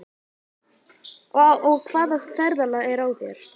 Og hvaða ferðalag er á þér?